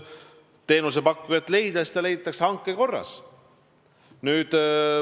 Te rääkisite oma küsimuses sellest, kus kohas patsient teenust saab.